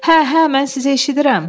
Hə, hə, mən sizi eşidirəm!